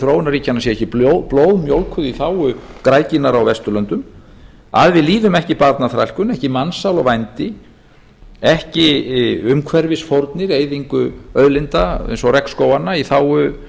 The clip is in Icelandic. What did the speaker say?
þróunarríkjanna sé ekki blóðmjólkuð í þágu græðginnar á vesturlöndum að við líðum ekki barnaþrælkun ekki mansal og vændi ekki umhverfisfórnir eyðingu auðlinda eins og regnskóganna í þágu